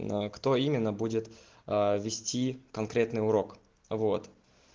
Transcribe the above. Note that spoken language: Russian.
а кто именно будет вести конкретный урок вот